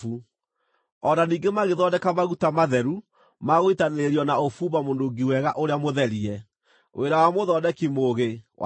O na ningĩ magĩthondeka maguta matheru ma gũitanĩrĩrio na ũbumba mũnungi wega ũrĩa mũtherie, wĩra wa mũthondeki mũũgĩ wa maguta.